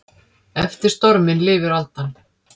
Eftir storminn lifir aldan.